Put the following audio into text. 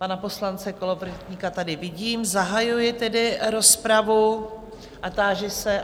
Pana poslance Kolovratníka tady vidím, zahajuji tedy rozpravu a táži se...